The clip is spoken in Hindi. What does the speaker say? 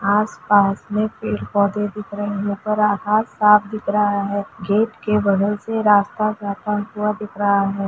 आस-पास में पेड़-पौधे दिख रहे है ऊपर आकाश साफ़ दिख रहा है गेट के बगल से रास्ता जाता हुआ दिख रहा है।